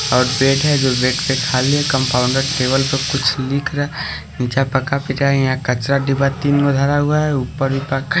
और बेड है जो बेड पे खाली है कंपाउंडर टेबल पर कुछ लिख रहा है नीचा पक्का पिता यहां कचरा डीबा तीन धरा हुआ है ऊपर भी पक्का--